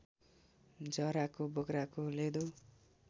जराको बोक्राको लेदो